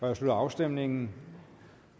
jeg slutter afstemningen